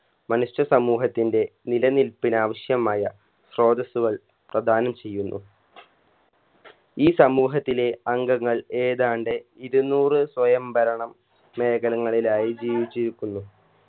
മനുഷ്യ സമൂഹത്തിൻറെ നിലനിൽപ്പിനാവശ്യമായ സ്രോതസ്സുകൾ പ്രധാനം ചെയ്യുന്നു ഈ സമൂഹത്തിലെ അംഗങ്ങൾ ഏതാണ്ട് ഇരുന്നൂറ് സ്വയം ഭരണം മേഖലകളിലായി ജീവിച്ചിരിക്കുന്നു